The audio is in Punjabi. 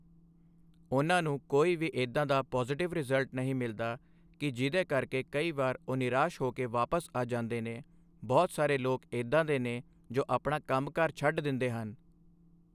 ਉਹਨਾਂ ਨੂੰ ਕੋਈ ਵੀ ਇੱਦਾਂ ਦਾ ਪੋਜ਼ੀਟਿਵ ਰਿਜ਼ਲਟ ਨਹੀਂ ਮਿਲਦਾ ਕਿ ਜਿਹਦੇ ਕਰਕੇ ਕਈ ਵਾਰੀ ਉਹ ਨਿਰਾਸ਼ ਹੋ ਕੇ ਵਾਪਸ ਆ ਜਾਂਦੇ ਨੇ ਬਹੁਤ ਸਾਰੇ ਲੋਕ ਇੱਦਾਂ ਦੇ ਨੇ ਜੋ ਆਪਣਾ ਕੰਮਕਾਰ ਛੱਡ ਦਿੰਦੇ ਹਨ।